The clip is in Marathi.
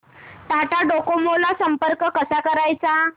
टाटा डोकोमो ला संपर्क कसा करायचा